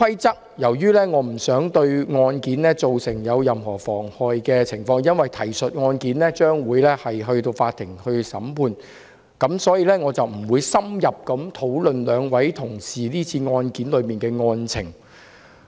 由於提述的案件將由法院審理，我不想對案件造成任何妨礙，所以我不會深入討論兩位同事是次案件的案情。